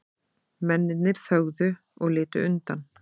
Mennirnir þögðu og litu undan.